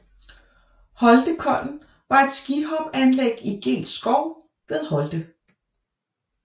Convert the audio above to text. Holtekollen var et skihopanlæg i Geels Skov ved Holte